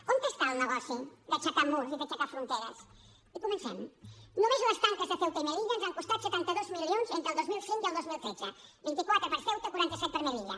on està el negoci d’aixecar murs i d’aixecar fronteres i comencem només les tanques de ceuta i melilla ens han costat setanta dos milions entre el dos mil cinc i el dos mil tretze vint quatre per a ceuta quaranta set per a melilla